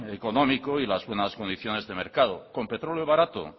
económico y las buenas condiciones de mercado con petróleo barato